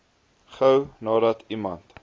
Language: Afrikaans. gou nadat iemand